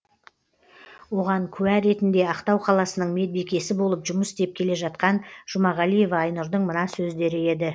оған куә ретінде ақтау қаласының медбикесі болып жұмыс істеп келе жатқан жұмағалиева айнұрдың мына сөздері еді